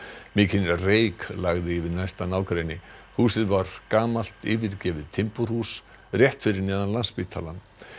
mikinn reyk lagði yfir næsta nágrenni húsið var gamalt yfirgefið timburhús rétt fyrir neðan Landspítalann